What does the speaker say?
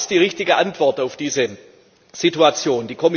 Aber was ist die richtige Antwort auf diese Situation?